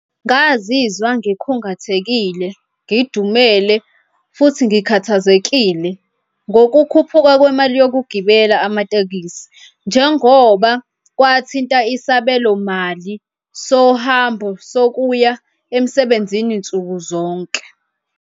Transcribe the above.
Ngazizwa ngikhungathekile, ngidumele futhi ngikhathazekile ngokukhuphuka kwemali yokugibela amatekisi njengoba kwathinta isabelomali sohambo sokuya emsebenzini nsuku zonke.